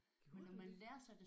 Gjorde du det?